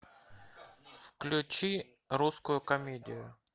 включи русскую комедию